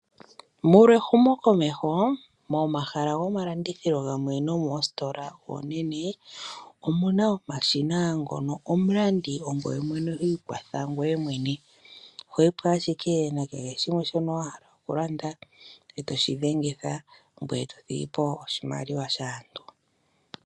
Molwa ehumo komeho momahala gomalandithilo nomoositola oonene. Omuna omshina ngono omulandi ongoye mwene ho ikwatha ngoye mwene. Ohoyipo ashike wuna kehe shimwe shono wahala okulanda eto shi dhengitha ngoye tothigipo oshimaliwa shaantu.